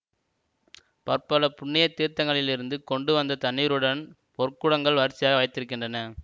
பற்பல புண்ணிய தீர்த்தங்களிலிருந்து கொண்டு வந்த தண்ணீருடன் பொற்குடங்கள் வரிசையாக வைத்திருக்கின்றன